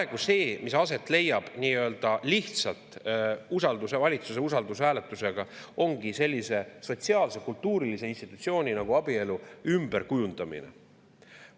Praegu see, mis aset leiab nii-öelda lihtsalt valitsuse usaldushääletusega, ongi sellise sotsiaal-kultuurilise institutsiooni nagu abielu ümberkujundamine.